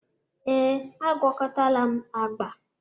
ee, agwakọtala m agba